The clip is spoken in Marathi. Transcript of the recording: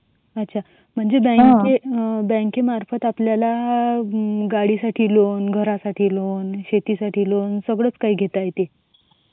अच्छा म्हणजे बँकेमार्फत आपल्याला म्हणजे गाडीसाठी लोन यासाठी लोन शेतीसाठी लोन सगळच काही घेता येते.